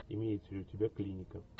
имеется ли у тебя клиника